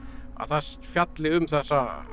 að það fjalli um þessa